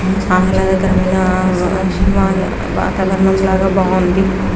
బాగుంది.